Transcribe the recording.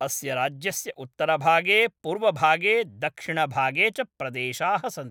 अस्य राज्यस्य उत्तरभागे पूर्वभागे दक्षिणभागे च प्रदेशाः सन्ति।